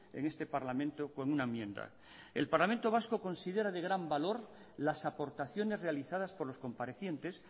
en este parlamento con una enmienda el parlamento vasco considera de gran valor las aportaciones realizadas por los comparecientes